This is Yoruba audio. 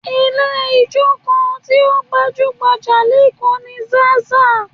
Ilé ijó kan tí ó gbajú-gbajà lékòó ni Zaza